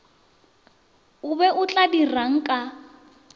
o be o ka dirangka